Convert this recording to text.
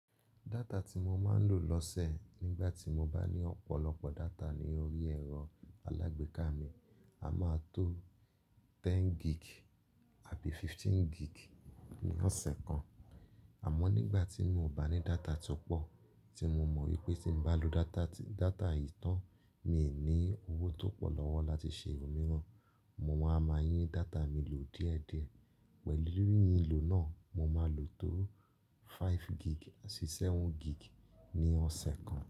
Data tí mo máa ń lò lọ́sẹ̀ nígbà tí mo bá ní ọ̀pọ̀lọpọ̀ data ní orí ẹ̀rọ alágbèéká mi, a máa tó ten gig àbí fifteen gig ní ọ̀sẹ̀ kan. Àmọ́ nígbà tí mo bà ní data tó pọ̀, tí mo mọ̀ wípé tí n bá lò data yìí tán, mi ò ní owó tó pọ̀ lọ́wọ́ láti ṣe òmíràn, mo máa ma yín data mi lò díẹ̀díẹ̀. Pẹ̀lú yíyìn lò náà, mo máa lò tó five gig sí seven gig ní ọ̀sẹ̀ kan.